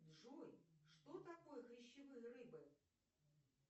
джой что такое хрящевые рыбы